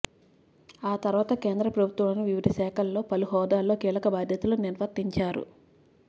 ఆ తర్వాత కేంద్ర ప్రభుత్వంలోని వివిధ శాఖల్లో పలు హోదాల్లో కీలక బాధ్యతలు నిర్వర్తించారు